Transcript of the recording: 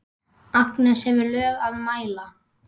Agnes hefur lög að mæla.